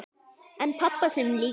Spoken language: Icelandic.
En pabba sínum líka.